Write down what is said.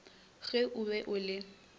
ge o be o le